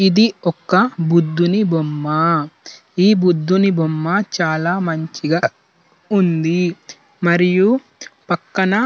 ఇది ఒక బుద్ధుని బొమ్మ. ఈ బుద్ధుని బొమ్మ చాలా మంచిగా ఉంది. మరియు పక్కానా --